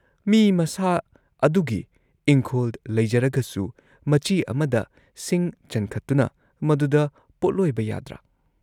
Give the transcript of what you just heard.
"ꯃꯤ ꯃꯁꯥ ꯑꯗꯨꯒꯤ ꯏꯪꯈꯣꯜ ꯂꯩꯖꯔꯒꯁꯨ ꯃꯆꯤ ꯑꯃꯗ ꯁꯤꯡ ꯆꯟꯈꯠꯇꯨꯅ ꯃꯗꯨꯗ ꯄꯣꯠꯂꯣꯏꯕ ꯌꯥꯗ꯭ꯔꯥ?"